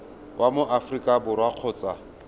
wa mo aforika borwa kgotsa